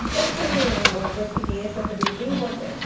Então foi um um uma experiência também bem importante.